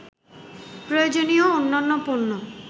প্রয়োজনীয় অন্যান্য পণ্য